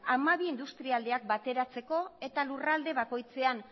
hamabi industrialdeak bateratzeko eta lurralde bakoitzean